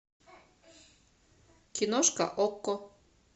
киношка окко